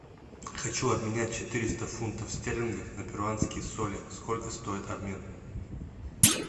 хочу обменять четыреста фунтов стерлингов на перуанские соли сколько стоит обмен